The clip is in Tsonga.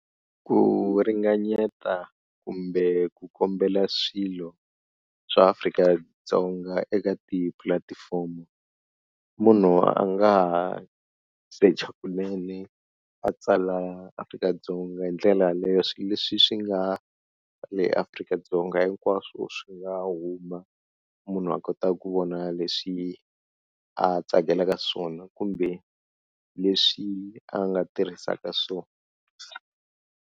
Ku ringanyeta kumbe ku kombela swilo swa Afrika-Dzonga eka tipulatifomo, munhu a nga ha secha kunene a tsala Afrika-Dzonga hi ndlela leswi leswi swi nga ka le Afrika-Dzonga, hinkwaswo swi nga huma munhu a kota ku vona leswi a tsakelaka swona kumbe leswi a nga tirhisaka swona.